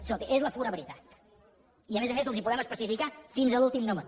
escolti és la pura veritat i a més a més els ho podem especificar fins a l’últim número